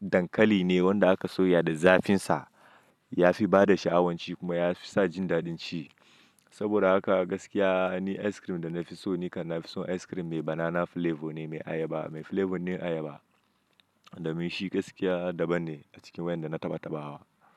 dankali ne wanda aka soya da zafin sa, ya fi bada sha'awanci kuma ya fi sa jin daɗin ci. Saboda haka gaskiya ni ice cream da na fi so ni kan na fi son ice cream mai banana flavor ne, mai ayaba, mai flavor din ayaba. Domin shi gaskiya daban ne a cikin wayan da na tabbataɓa wa.